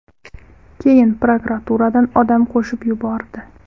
Keyin prokuraturadan odam qo‘shib yubordi.